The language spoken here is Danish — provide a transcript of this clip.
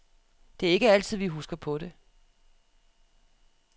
Det er ikke altid, vi husker på det.